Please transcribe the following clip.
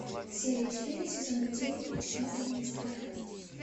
серия четыре сезона девять ночной администратор